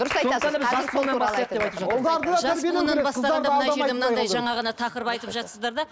жаңа ғана тақырып айтып да